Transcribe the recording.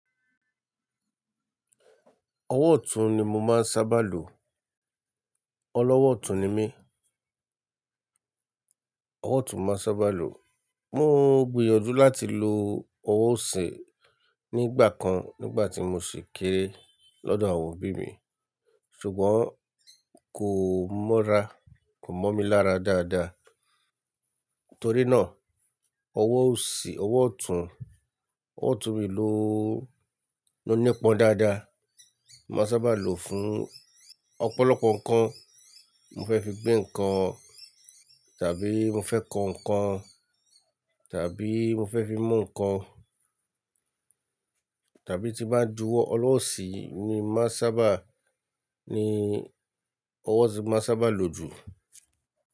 Ọwọ́ ọ̀tún ni mo máa ń sábà lò. Ọlọ́wọ́ ọ̀tún ni mí. Ọwọ́ ọ̀tún nmá sábà lò. Mo gbìyànjú láti lo ọwọ́ òsì nígbà kan nígbà tí mo sì kéré lọ́dọ̀ àwọn òbí mi, ṣùgbọ́n kò mọ́ra, kò mọ́ mi lára dáadáa. Torí náà, ọwọ́ òsì, ọwọ́ ọ̀tún, ọwọ́ ọ̀tún mi ló ló nípọn dáadáa. Maá sábà lò ó fún ọ̀pọ̀lọpọ̀ nǹkan. Mo fẹ́ fi gbé nǹkan, tàbí mo fẹ́ kọ nǹkan, tàbí mo fẹ́ fi mú nǹkan, tàbí ti bá ń juwọ́, ọwọ́ òsì yìí ni máá sábà, ní ọwọ́ òsì ni máá sábà lò jù.